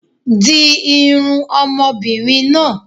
Di irun ọmọbìnrin náà.